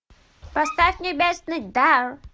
поставь небесный дар